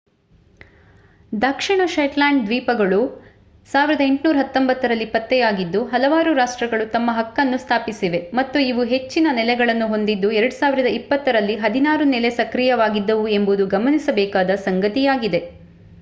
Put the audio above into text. ದಕ್ಷಿಣ Shetland ದ್ವೀಪಗಳು 1819 ರಲ್ಲಿ ಪತ್ತೆಯಾಗಿದ್ದು ಹಲವಾರು ರಾಷ್ಟ್ರಗಳು ತಮ್ಮ ಹಕ್ಕನ್ನು ಸ್ಥಾಪಿಸಿವೆ ಮತ್ತು ಇವು ಹೆಚ್ಚಿನ ನೆಲೆಗಳನ್ನು ಹೊಂದಿದ್ದು 2020 ರಲ್ಲಿ ಹದಿನಾರು ನೆಲೆ ಸಕ್ರಿಯವಾಗಿದ್ದವು ಎಂಬುದು ಗಮನಿಸಬೇಕಾದ ಸಂಗತಿಯಾಗಿದೆ